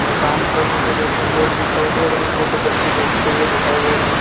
दुकान पर मुझे दो तीन लोग दिखाई दे रहे है जो की सब्ज़ी देखते हुए दिखाई दे रहे है।